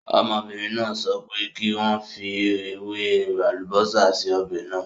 Ọmọbìnrin náà sọ pé kí n fi ewé àlùbósà sí ọ̀bẹ̀ náà.